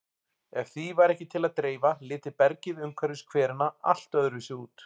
Ef því væri ekki til að dreifa liti bergið umhverfis hverina allt öðruvísi út.